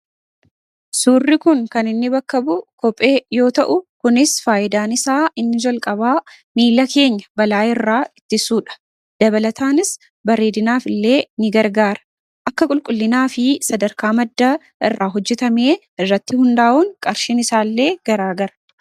Suurri kun kan inni bakka bu'u kophee yoo ta'u kunis faayidaan isaa inni jalqabaa miila keenya balaa irraa itti suudha. Dabalataanis bareedinaaf illee ni gargaara. Akka qulqullinaa fi sadarkaa maddaa irraa hojjetamee irratti hundaa'uun qarshin isaa illee garaagara.